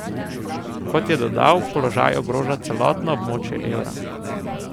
Kot je dodal, položaj ogroža celotno območje evra.